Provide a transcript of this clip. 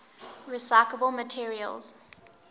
recyclable materials